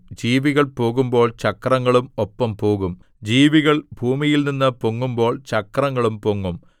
ജീവികൾ പോകുമ്പോൾ ചക്രങ്ങളും ഒപ്പം പോകും ജീവികൾ ഭൂമിയിൽനിന്നു പൊങ്ങുമ്പോൾ ചക്രങ്ങളും പൊങ്ങും